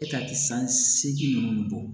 E ka san seegin ninnu bɔ